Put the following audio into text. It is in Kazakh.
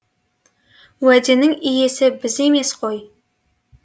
уәденің иесі біз емес қой